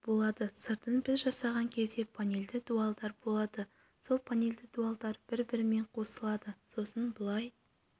болады сыртын біз жасаған кезде панельді дуалдар болады сол панельді дуалдар бір-бірімен қосылады сосын былай